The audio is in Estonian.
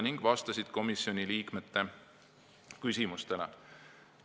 Ka vastasid nad komisjoni liikmete küsimustele.